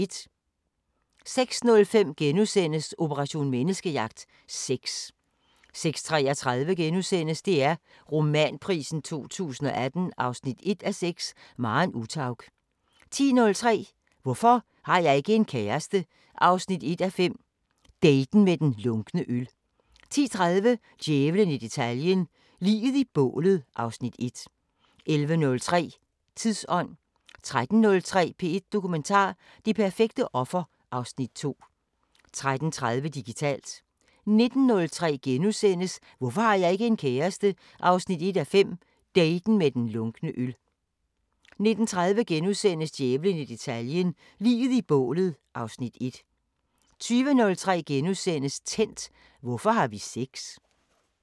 06:05: Operation Menneskejagt: Sex * 06:33: DR Romanprisen 2018 1:6 – Maren Uthaug * 10:03: Hvorfor har jeg ikke en kæreste? 1:5 – daten med den lunkne øl 10:30: Djævlen i detaljen – Liget i bålet (Afs. 1) 11:03: Tidsånd 13:03: P1 Dokumentar: Det perfekte offer (Afs. 2) 13:30: Digitalt 19:03: Hvorfor har jeg ikke en kæreste? 1:5 – daten med den lunkne øl * 19:30: Djævlen i detaljen – Liget i bålet (Afs. 1)* 20:03: Tændt: Hvorfor har vi sex? *